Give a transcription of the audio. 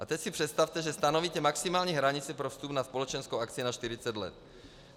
A teď si představte, že stanovíte maximální hranici pro vstup na společenskou akci na 40 let.